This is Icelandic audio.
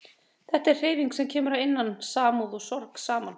Þetta er hreyfing sem kemur að innan, samúð og sorg saman